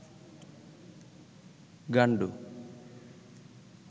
গান্ডু